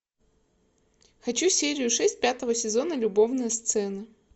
хочу серию шесть пятого сезона любовные сцены